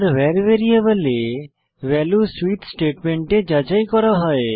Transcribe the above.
var ভ্যারিয়েবলে value switch স্টেটমেন্টে যাচাই করা হয়